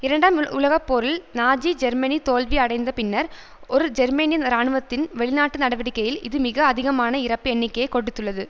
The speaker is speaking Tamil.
இரண்டாம் உலக போரில் நாஜி ஜெர்மனி தோல்வி அடைந்த பின்னர் ஒரு ஜெர்மனிய இராணுவத்தின் வெளிநாட்டு நடவடிக்கையில் இது மிக அதிகமான இறப்பு எண்ணிக்கையை கொடுத்துள்ளது